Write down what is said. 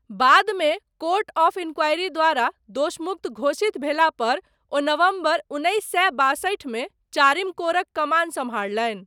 बादमे, court of inquiry द्वारा दोषमुक्त घोषित भेलापर, ओ नवम्बर उन्नैस सए बासठिमे चारिम कोरक कमान सम्हारलनि।